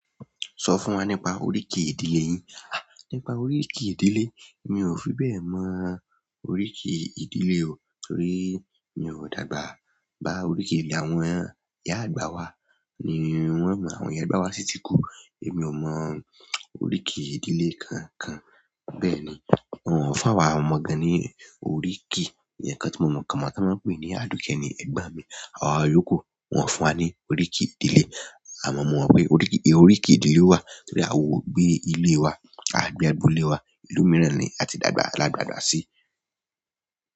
Sọ fún wa nípa oríkì ìdílé yín. À, nípa oríkì ìdílé, mi ò fi bẹ́ẹ̀ mọ oríkì ìdílé o. Torí mi ò dàgbà bá oríkì ìdílé àwọn ìyá àgbà wa. Ni wọ́n mọ àwọn ìyá àgbà wa sítí kú. Èmi ò mọ oríkì ìdílé kan kan. Bẹ́ẹ̀ ni, wọn fún àwa ọmọ gan-an ní oríkì. Eyan kan tí mo mọ̀ kan máa tó máa pè é ní Aduke ni, ẹ̀gbọ́n mi. Àwa iyoku, wọ́n fún wa ní oríkì ìdílé. A mọ̀ mọ́ pé oríkì, oríkì ìdílé wa torí a wò ó gbé ilé wa. A gbé agbolé wa, ìlú mìíràn ni a ti dàgbà ládàgbà sí.